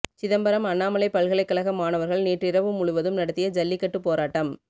சிதம்பரம் அண்ணாமலை பல்கலைக்கழக மாணவர்கள் நேற்றிரவு முழுவதும் நடத்திய ஜல்லிக்கட்டு போராட்டம்